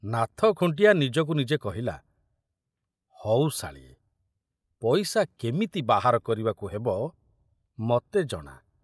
ନାଥ ଖୁଣ୍ଟିଆ ନିଜକୁ ନିଜେ କହିଲା, ହଉ ଶାଳୀଏ, ପଇସା କେମିତି ବାହାର କରିବାକୁ ହେବ, ମତେ ଜଣା।